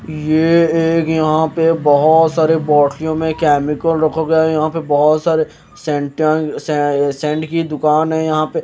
ये एक यहाँ पे बहोत सारे बोटलियों में केमिकल रखा गया है यहाँ पे बहुत सारे सेंटया सै सेंट की दुकान है यहाँ पे --